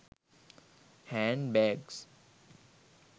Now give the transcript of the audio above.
hand bags